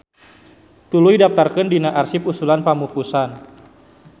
Tuluy daptarkeun dina arsip usulan pamupusan.